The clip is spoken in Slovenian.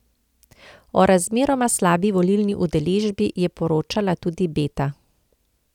O razmeroma slabi volilni udeležbi je poročala tudi Beta.